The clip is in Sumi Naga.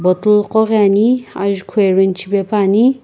bottle qo ghi ani ajukhu arrange shipepuani.